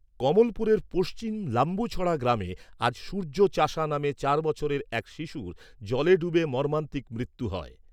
কমলপুরের পশ্চিম লাম্বুছড়া গ্রামে আজ সূর্য চাসা নামে চার বছরের এক শিশুর জলে ডুবে মর্মান্তিক মৃত্যু হয়।